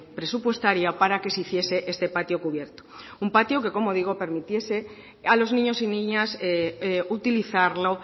presupuestaria para que se hiciese este patio cubierto un patio que como digo permitiese a los niños y niñas utilizarlo